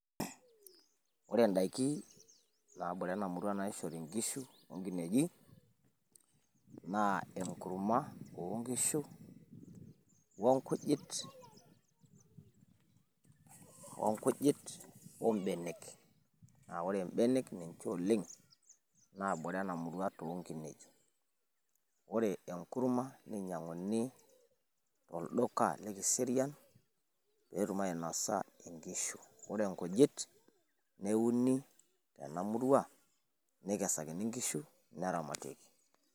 Ore n`daiki naabore ena murua naishori nkishu o nkinenyik naa enkurma oo nkishu o nkujit, o nkujit, o mbnenek aa ore mbenek naa ninche oleng naabore ena murua oo nkinejik. Ore enkurma neinyiang`uni tolduka le Kiserian pee etum ainosa nkishu ore nkunyit neuni tena murua nekasakini nkishu teneramati.